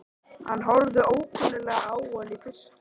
Hann horfir ókunnuglega á hann í fyrstu.